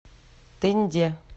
тынде